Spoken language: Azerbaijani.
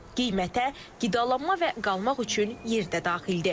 Qiymətə qidalanma və qalmaq üçün yer də daxildir.